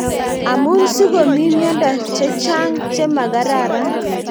Amuni sigomi miondo chechang chemakararan